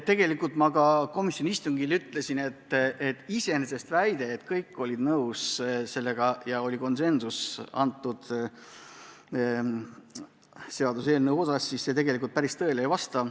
Tegelikult ma ka komisjoni istungil ütlesin, et väide, et kõik olid seaduseelnõuga nõus, päris tõele ei vasta.